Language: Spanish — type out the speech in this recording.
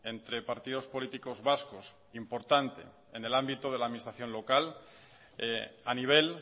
entre partidos políticos vascos importante en el ámbito de la administración local a nivel